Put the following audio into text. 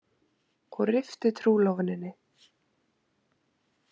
Og rifti trúlofuninni.